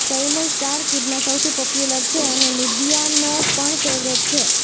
તૈમૂર સ્ટારકિડમાં સૌથી પોપ્યુલર છે અને મીડિયાનો પણ ફેવરેટ છે